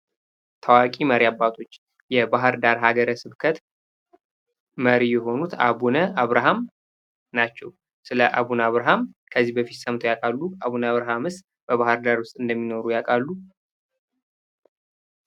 ታዋቂ መሪ አባቶች በባህር ዳር ሀገረ ስብከት መሪ የሆኑት አቡነ አብርሃም ናቸው። ስለ አቡነ አብርሃም ከዚህ በፊት ሰምተው ያውቃሉ? አቡነ አብርሃምስ በባህር ዳር ውስጥ እንደሚኖር ያውቃሉ?